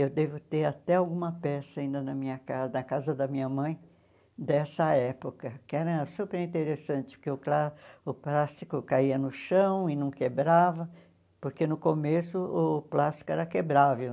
Eu devo ter até alguma peça ainda na minha ca na casa da minha mãe dessa época, que era superinteressante, porque o plá o plástico caía no chão e não quebrava, porque no começo o plástico era quebrável.